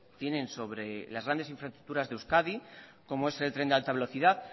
tienen sobre las grandes infraestructuras de euskadi como es el tren de alta velocidad